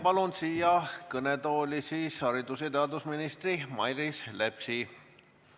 Palun siia kõnetooli haridus- ja teadusminister Mailis Repsi.